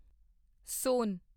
ਸੋਨ